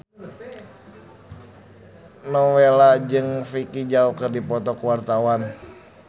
Nowela jeung Vicki Zao keur dipoto ku wartawan